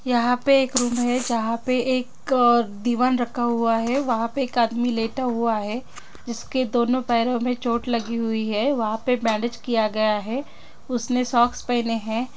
यहाँ पे एक रूम है जहाँ पे एक दिवान रखा हुआ है वहाँ पे एक आदमी लेटा हुआ है जिसके दोनों पैरों में चोट लगी हुए है वहाँ पे बैंडेज किया गया है उसने सॉक्स पहने हैं।